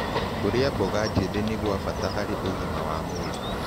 Kũrĩa mmboga njĩthĩ nĩ gwa bata harĩ ũgima wa mwĩlĩ